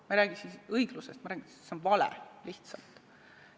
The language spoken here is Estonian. Ma ei räägi siin õiglusest, ma räägin, et see on lihtsalt vale.